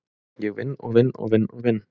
Ég vinn og vinn og vinn og vinn.